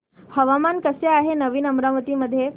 हवामान कसे आहे नवीन अमरावती मध्ये